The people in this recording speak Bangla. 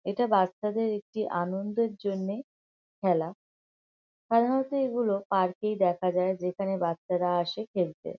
এটা বাচ্চাদের একটি আনন্দের জন্যে খেলা। সাধারণত এগুলো পার্ক এই দেখা যায় যেখানে বাচ্চারা আসে খেলতে।